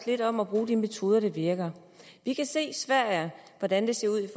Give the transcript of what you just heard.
lidt om at bruge de metoder der virker vi kan se hvordan det ser ud i